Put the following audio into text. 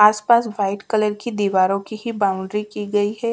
आस पास white colour की दीवारों की ही बाउंड्री की गई है।